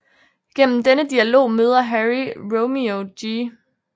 Gennem denne dialog møder Harry Romeo G